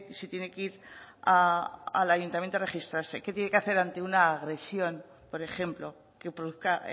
si tiene que ir al ayuntamiento a registrarse qué tiene que hacer ante una agresión por ejemplo que produzca